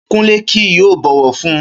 Kúnlé kì yóò bọ̀wọ̀ fun un